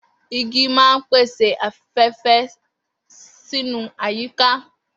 Igi máa ń pèsè afé̩fé̩ sínú àyíká